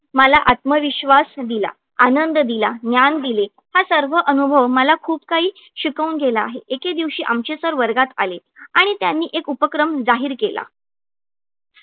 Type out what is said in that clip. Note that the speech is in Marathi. मला आत्मविश्वास दिला आनंद दिला ज्ञान दिले हा सर्व अनुभव मला खूप काही शिकवून गेला आहे. एके दिवशी आमचे sir वर्गात आले आणि त्यांनी एक उपक्रम जाहीर केला.